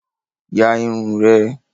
Ya irun rẹ.